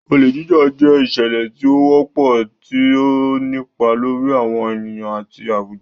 Olè Jíjà jẹ́ ìṣẹ̀lẹ̀ tí ó wọ́pọ̀, tí ó ń nípa lórí àwọn ènìyàn àti àwùjọ.